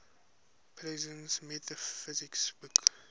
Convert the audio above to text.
presence metaphysics book